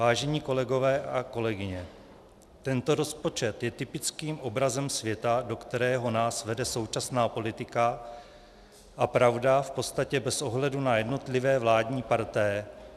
Vážení kolegové a kolegyně, tento rozpočet je typickým obrazem světa, do kterého nás vede současná politik, a pravda, v podstatě bez ohledu na jednotlivé vládní partaje.